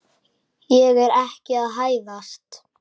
Ég er ekki að hæðast.